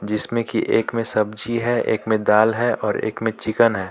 जिस में की एक में सब्जी है एक में दाल है और एक में चिकन है.